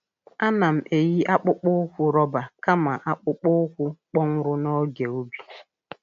A na'm eyi akpụkpọ ụkwụ roba kama akpụkpọ ụkwụ kpọnwụrụ n’oge ubi.